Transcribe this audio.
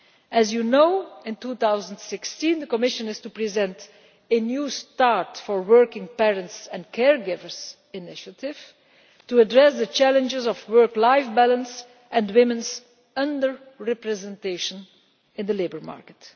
As you know, in 2016 the Commission is to present a new start for working parents and care givers' initiative to address the challenges of work life balance and women's under representation in the labour market.